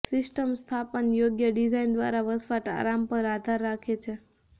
system સ્થાપન યોગ્ય design દ્વારા વસવાટ આરામ પર આધાર રાખે છે